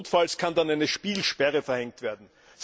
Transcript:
Notfalls kann dann eine Spielsperre verhängt werden.